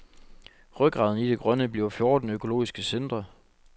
Rygraden i det grønne bliver fjorten økologiske centre.